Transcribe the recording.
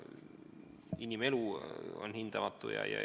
Inimelu on hindamatu.